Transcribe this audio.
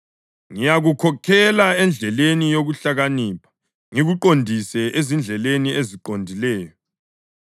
Ngiyakukhokhela endleleni yokuhlakanipha, ngikuqondise ezindleleni eziqondileyo.